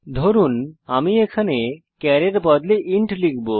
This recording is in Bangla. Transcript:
ধরুন এখানে আমি চার এর বদলে ইন্ট লিখব